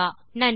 நன்றி